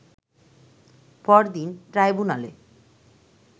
পরদিন ট্রাইব্যুনালে